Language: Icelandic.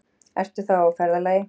Ertu þá á ferðalagi?